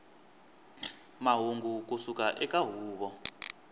mahungu ku suka eka huvo